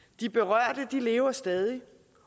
de berørte lever stadig